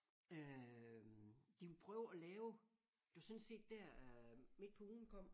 Øh de ville prøve at lave det var sådan set der øh Midt På Ugen kom